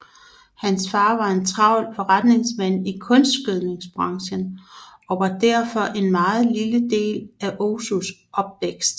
Hans far var en meget travl forretningsmand i kunstgødningsbranchen og var derfor en meget lille del af Ozus opvækst